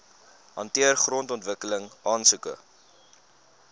hanteer grondontwikkeling aansoeke